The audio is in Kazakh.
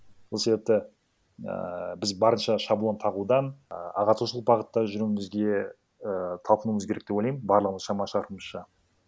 сол себепті ііі біз барынша шаблон тағудан і ағартушылық бағытта жүруімізге і талпынуымыз керек деп ойлаймын барлығымыз шама шарқымызша